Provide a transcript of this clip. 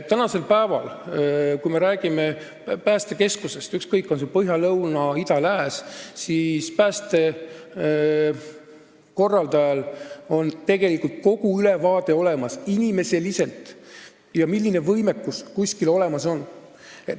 Tänasel päeval, kui jutt on päästekeskustest – ükskõik, on see Põhja-, Lõuna-, Ida- või Lääne-Eesti oma –, siis pääste korraldajal on olemas korralik ülevaade päästjate arvust ja sellest, milline võimekus kuskil olemas on.